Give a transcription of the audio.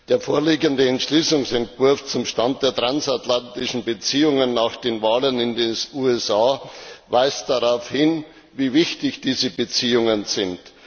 Der vorliegende Entschließungsentwurf zum Stand der transatlantischen Beziehungen nach den Wahlen in den USA weist darauf hin, wie wichtig diese Beziehungen sind.